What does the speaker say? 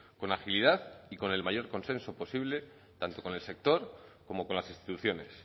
con agilidad y con el mayor consenso posible tanto con el sector como con las instituciones